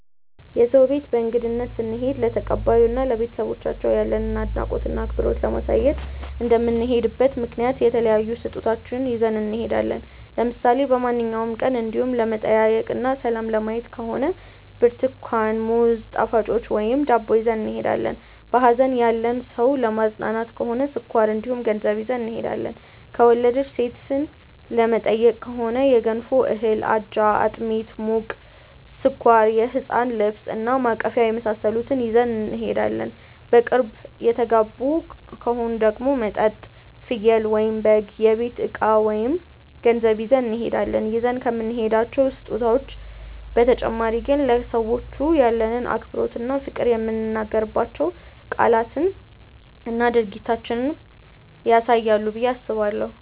የሰው ቤት በእንግድነት ስንሄድ ለተቀባዩ እና ለቤተሰቦቻቸው ያለንን አድናቆት እና አክብሮት ለማሳየት እንደምንሄድበት ምክንያት የተለያዩ ስጦታዎችን ይዘን እንሄዳለን። ለምሳሌ በማንኛውም ቀን እንዲው ለመጠያየቅ እና ሰላም ለማየት ከሆነ ብርትኳን፣ ሙዝ፣ ጣፋጮች ወይም ዳቦ ይዘን እንሄዳለን። በሀዘን ያለን ሰው ለማፅናናት ከሆነ ስኳር እንዲሁም ገንዘብ ይዘን እንሄዳለን። የወለደች ሴትን ለመጠየቅ ከሆነ የገንፎ እህል፣ አጃ፣ አጥሚት (ሙቅ)፣ስኳር፣ የህፃን ልብስ እና ማቀፊያ የመሳሰሉትን ይዘን እንሄዳለን። በቅርብ የተጋቡ ከሆኑ ደግሞ መጠጥ፣ ፍየል/በግ፣ የቤት እቃ ወይም ገንዘብ ይዘን እንሄዳለን። ይዘን ከምንሄዳቸው ስጦታዎች በተጨማሪ ግን ለሰዎቹ ያለንን አክብሮት እና ፍቅር የምንናገራቸው ቃላትና ድርጊታችንም ያሳያሉ ብዬ አስባለሁ።